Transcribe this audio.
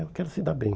E eu quero se dar bem.